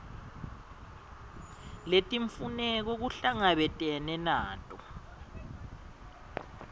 letimfuneko kuhlangabetene nato